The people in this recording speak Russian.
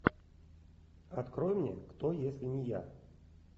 открой мне кто если не я